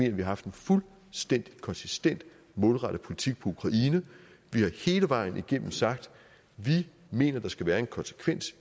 at vi har haft en fuldstændig konsistent og målrettet politik for ukraine vi har hele vejen igennem sagt at vi mener at der skal være en konsekvens